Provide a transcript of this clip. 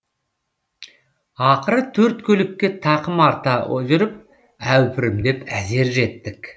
ақыры төрт көлікке тақым арта жүріп әупірімдеп әзер жеттік